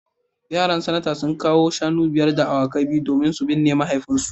Yaran Sanata sun kawo shanu biyar da awakai biyu domin su binne mahaifinsu